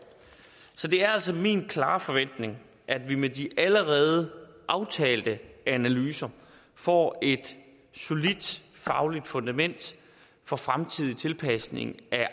så det er altså min klare forventning at vi med de allerede aftalte analyser får et solidt fagligt fundament for fremtidig tilpasning af